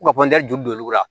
U ka ju don olu la